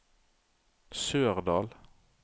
Sørdal